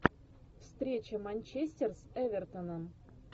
встреча манчестер с эвертоном